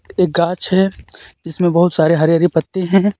एक ग़ाछ है जिसमें बहुत सारे हरे हरे पत्ते हैं।